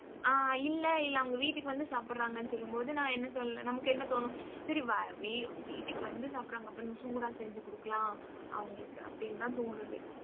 ஆஹ் இல்லை, இல்லை அவங்க வீட்டுக்கு வந்து சாப்பிடறாங்கன்னு சொல்லும் போது நான் என்ன சொல்ல நமக்கு என்ன தோணும் சரி வ~ வீ~ வீட்டுக்கு வந்து சாப்பிடறாங்க அப்ப நம்ம சூடா செஞ்சு குடுக்கலாம் அவங்களுக்கு அப்படின்னுதான் தோணுது